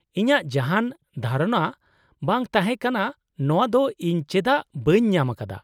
- ᱤᱧᱟᱜ ᱡᱟᱦᱟᱸᱱ ᱫᱷᱟᱨᱚᱱᱟ ᱵᱟᱝ ᱛᱟᱦᱮᱸ ᱠᱟᱱᱟ ᱱᱚᱣᱟ ᱫᱚ ᱤᱧ ᱪᱮᱫᱟᱜ ᱵᱟᱹᱧ ᱧᱟᱢ ᱟᱠᱟᱫᱟ ᱾